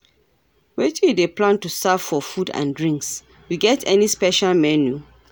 Wetin you dey plan to serve for food and drinks, you get any special menu?